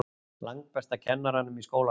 Langbesta kennaranum í skólanum.